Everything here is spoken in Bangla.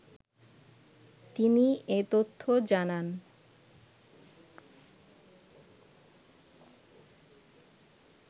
তিনি এ তথ্য জানান